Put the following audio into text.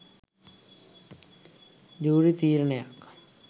Jury තීරණයක්.